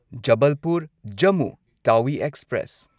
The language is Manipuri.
ꯖꯕꯜꯄꯨꯔ ꯖꯝꯃꯨ ꯇꯥꯋꯤ ꯑꯦꯛꯁꯄ꯭ꯔꯦꯁ